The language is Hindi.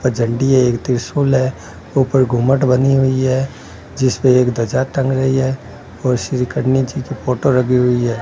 वह झंडी है एक त्रिशूल है ऊपर गुमट बनी हुई है जिसपे एक ध्वजा टंग रही है और श्री कन्हैया जी की फोटो लगी हुई है।